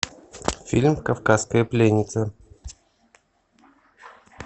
фильм кавказская пленница